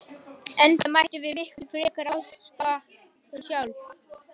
Enda mættum við miklu frekar ásaka okkur sjálf.